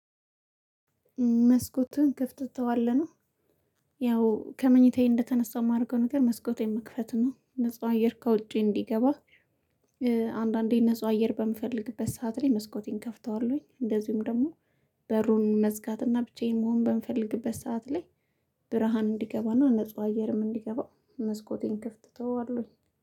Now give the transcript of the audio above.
መስኮቱን ከፍተህ ትተዋለህ? ያው ከመኝታዬ እንደተነሳው የማደርገው ነገር መስኮቴን መክፈት ነው ነፃ አየር ከውጪ እንዲገባ አንዳንዴ ንጹህ አየር በምፈልግበት ሰዓት ላይ መስኮቴን ከፍተዋለሁኝ እንደዚሁም ደግሞ በሩን መዝጋት እና ብቻዬን መሆን በምፈልግበት ሰዓት ላይ ብርሃን እንዲገባና ንጹህ አየርም እንዲገባ መስኮቴን ክፍት ተወዋለሁኝ።